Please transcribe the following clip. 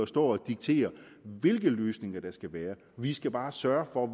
står og dikterer hvilke løsninger der skal være vi skal bare sørge for at